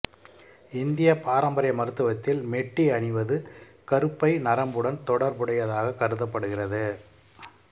இந்தியப் பாரம்பரிய மருத்துவத்தில் மெட்டி அணிவது கருப்பை நரம்புடன் தொடர்புடையதாகக் கருதப்படுகிறது